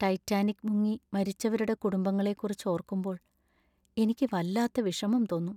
Titanic മുങ്ങി മരിച്ചവരുടെ കുടുംബങ്ങളെ കുറിച്ച് ഓർക്കുമ്പോൾ എനിക്ക് വല്ലാത്ത വിഷമം തോന്നും.